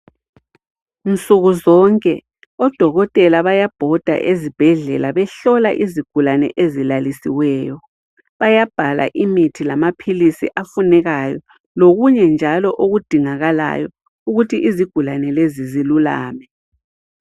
Nsuku zonke odokotela bayabhoda ezibhedlela behlola izigulane ezilalisiweyo bayabhala imithi lamaphilisi afunekayo lokunye njalo okudingakalayo ukuthi izigulane lezi zilulame